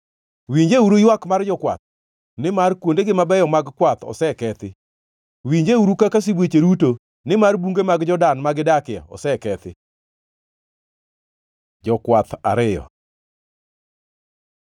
Winjeuru ywak mar jokwath; nimar kuondegi mabeyo mag kwath osekethi. Winjeuru kaka sibuoche ruto, nimar bunge mag Jordan ma gidakie osekethi! Jokwath ariyo